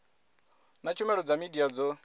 na tshumelo dza midia dzo